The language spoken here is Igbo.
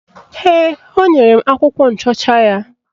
Ee, o nyere m akwụkwọ nchọcha ya